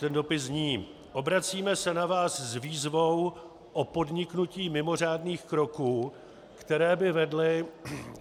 Ten dopis zní: Obracíme se na vás s výzvou o podniknutí mimořádných kroků, které by vedly...